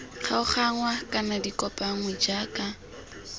kgaoganngwa kana di kopanngwe jaaka